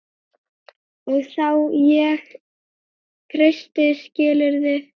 Og þá ég kreisti skilurðu?